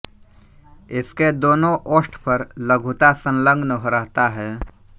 इसके दोनों ओष्ठ पर लघुता संलग्न रहता है